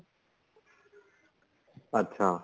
ਅੱਛਾ